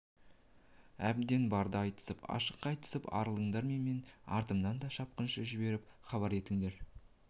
әбден барды айтысып ашық айтысып арылыңдар да менің артымнан шапқыншы жіберіп хабар етіңдер